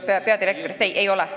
Kõigepealt peadirektori pädevusest.